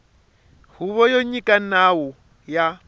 huvo yo nyika nawu ya